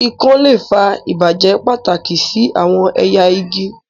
ikon le fa ibajẹ pataki si awọn ẹya igi.